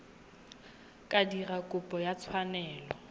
ka dira kopo ya tshwanelo